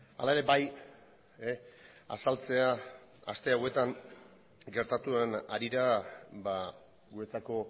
hala ere bai azaltzea aste hauetan gertatu den harira guretzako